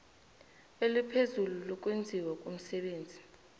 eliphezulu lokwenziwa komsebenzi